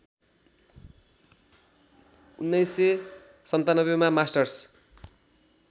१९९७ का मास्टर्स